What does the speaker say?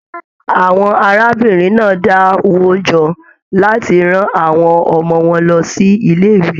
Àwọn arábìnrin náà dá wo jọ láti rán àwọn ọmọ wọn lọ si ilé ìwé.